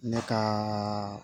Ne ka